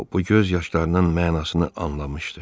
o bu göz yaşlarının mənasını anlamışdı.